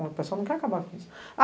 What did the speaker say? O pessoal não quer acabar com isso.